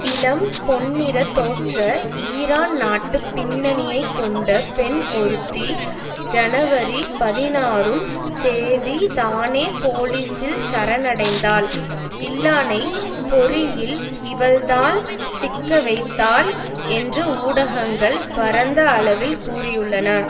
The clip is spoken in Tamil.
இளம் பொன்னிற தோற்ற ஈரான் நாட்டு பின்னணியை கொண்ட பெண் ஒருத்தி ஜனவரி பதினாறும் தேதி தானே போலீசில் சரணடைந்தாள் இல்லானை பொறியில் இவள்தான் சிக்க வைத்தாள் என்று ஊடகங்கள் பரந்த அளவில் கூறியுள்ளன